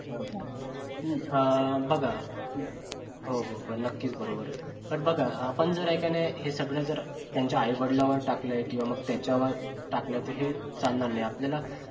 बघा हो हो नकीच बरोबर पण बघा आपण जर हाय कि नाय हे सगळं जर त्यांच्या आई-वडिलावर टाकलाय किंवा मग त्याच्यावर टाकले तर चालणार नाही आपल्याला